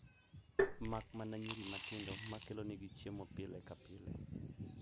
Makmana nyiri matindo ma kelonegi chiemo pile ka pile.